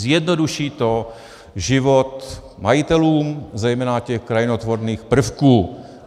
Zjednoduší to život majitelům, zejména těch krajinotvorných prvků.